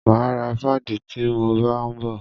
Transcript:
Máa ra páàdì ti mo bá ń bọ̀.